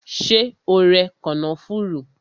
Ṣé o rẹ kànáfùrú?